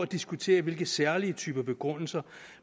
diskuteres hvilke særlige typer begrundelser